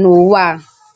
n’Ụ̀wà a.